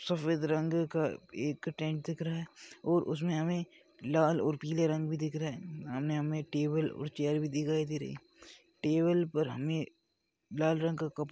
सफ़ेद रंग का एक टेंट दिख रहा है और उसमे हमे लाल और पीले रंग भी दिख रहै हैसामने हमे टेबल और चेयर भी दिखाई दे रही है टेबल पर हमे लाल रंग का कप--